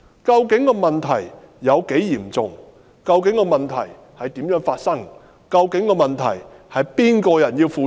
究竟問題有多嚴重；究竟問題是如何發生的；究竟問題該由誰負責？